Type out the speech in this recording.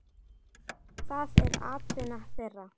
Það er atvinna þeirra.